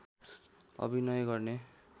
अभिनय गर्ने